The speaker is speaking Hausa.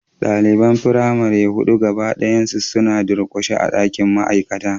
Daliban firamare hudu gaba daya suna durkushe a dakin ma'aikata